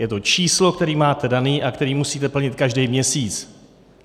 Je to číslo, které máte dané a které musíte plnit každý měsíc.